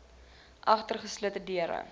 agter geslote deure